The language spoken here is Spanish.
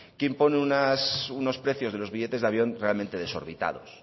que impone unos precios de los billetes de avión realmente desorbitados